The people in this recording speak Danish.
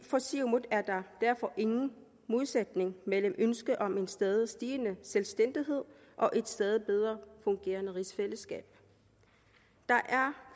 for siumut er der derfor ingen modsætning mellem ønsket om en stadig stigende selvstændighed og et stadig bedre fungerende rigsfællesskab der